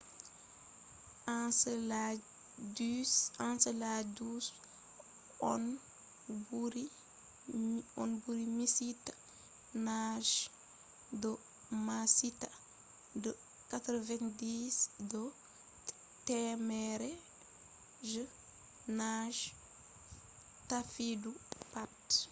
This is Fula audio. enceladus on ɓuri miccita naange do maccitaa de 90 do temere je naange taffiɗum pat